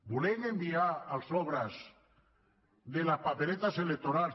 volem enviar els sobres de les paperetes electorals